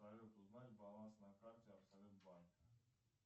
салют узнать баланс на карте абсолют банка